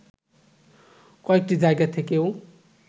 কয়েকটি জায়গা থেকেও